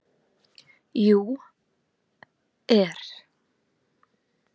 . jú. er.